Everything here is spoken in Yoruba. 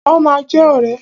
Wọ́n ma jẹ ọ̀rẹ́.